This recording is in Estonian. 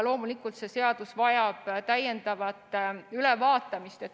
Loomulikult, see seadus vajab täiendavat ülevaatamist.